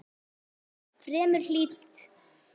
Fremur hlýtt.